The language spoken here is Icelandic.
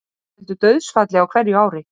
Þetta veldur dauðsfalli á hverju ári